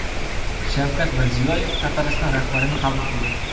Shavkat Mirziyoyev Tatariston rahbarini qabul qildi.